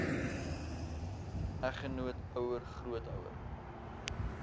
eggenoot ouer grootouer